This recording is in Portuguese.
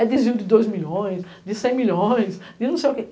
É desvio de dois milhões, de cem milhões, de não sei o quê.